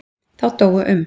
Þá dóu um